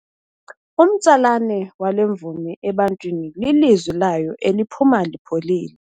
Umtsalane wale mvumi ebantwini lilizwi layo eliphuma lipholile.